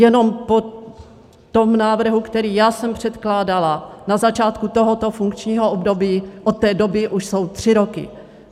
Jenom po tom návrhu, který já jsem předkládala na začátku tohoto funkčního období, od té doby už jsou tři roky.